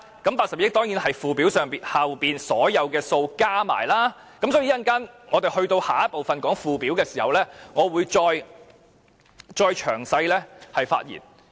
這82億元當然是附表內所有數目加起來，所以稍後討論附表時，我會再詳細發言。